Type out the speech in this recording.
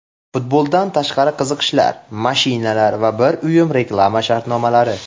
Futboldan tashqari qiziqishlar, mashinalar va bir uyum reklama shartnomalari.